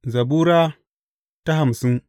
Zabura Sura hamsin